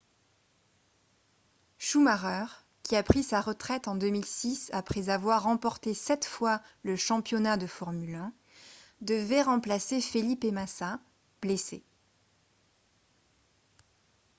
schumacher qui a pris sa retraite en 2006 après avoir remporté sept fois le championnat de formule 1 devait remplacer felipe massa blessé